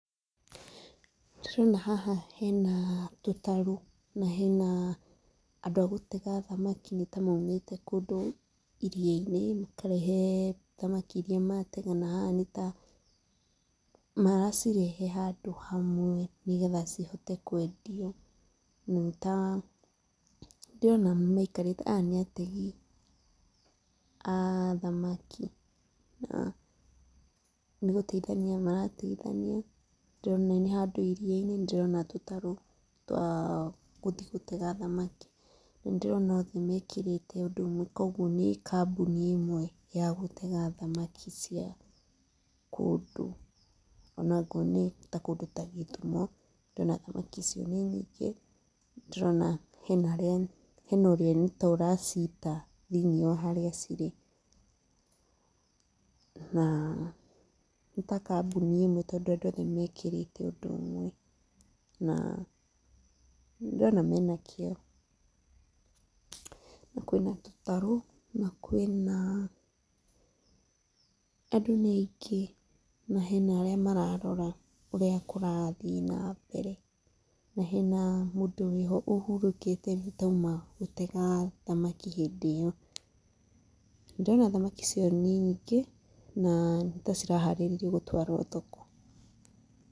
Ndĩrona haha hena tũtarũ na hena andũ agũtega thamaki nĩ ta maumĩte kũndũ iria-inĩ makarehe thamaki iria matega na haha nĩ ta maracirehe handũ hamwe nĩgetha cihote kwendio. Nĩ ta, ndĩrona maikarĩte, aya nĩ ategi, a thamaki. Nĩ gũtheithania marateithania nĩ ndĩrona nĩ handũ iria-inĩ, nĩ ndĩrona tũtaro twa gũthi gũtega thamaki. Nĩ ndĩrona othe mekĩrĩte ũndũ ũmwe koguo ĩno nĩ kambũni ya gũtega thamaki cia kũndũ. O nakuo nĩ kũndũ ta Gĩthũmo, ndĩrona thamaki icio nĩ nyĩngĩ, ndĩrona hena ũrĩa nĩta aracita thĩinĩ wa harĩa cirĩ na nĩ ta kambũni i mwe tondũ andũ mekĩrĩte ũndũ ũmwe, na nĩ ndĩrona mena kĩo. Na kwĩna tũtaro, na kwĩna, andũ nĩ aingĩ na hena arĩa mararora ũrĩa kũrathiĩ na mbere, na hena mũndũ ũrĩho ũhũrũkĩte nĩ ta auma gũtega thamaki hĩndĩ ĩyo. Ndĩrona thamaki icio nĩ nyingĩ na nĩ ta ciraharĩrĩrio gũtwarwo thoko.